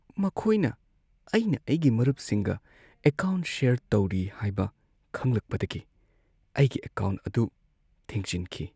ꯃꯈꯣꯏꯅ ꯑꯩꯅ ꯑꯩꯒꯤ ꯃꯔꯨꯞꯁꯤꯡꯒ ꯑꯦꯀꯥꯎꯟꯠ ꯁꯦꯌꯔ ꯇꯧꯔꯤ ꯍꯥꯏꯕ ꯈꯪꯂꯛꯄꯗꯒꯤ ꯑꯩꯒꯤ ꯑꯦꯀꯥꯎꯟꯠ ꯑꯗꯨ ꯊꯤꯡꯖꯤꯟꯈꯤ꯫